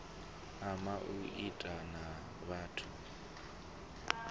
ama u itiwa ha batho